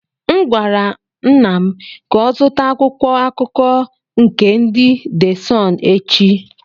M gwara nna m ka ọ zụta akwụkwọ akụkọ nke ndị de Sunụ echi.